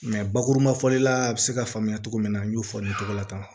bakuruba fɔli la a bɛ se ka faamuya cogo min na n y'o fɔ cogo la tan